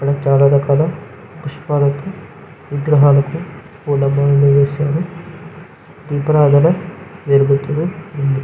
ఇక్కడ చాలా రకాల పుష్పాలతో విగ్రహాలకు పూలమాలలు వేశారు దీపారాధన జరుగుతుంది --